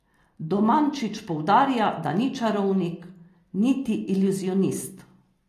Domančić poudarja, da ni čarovnik, niti iluzionist.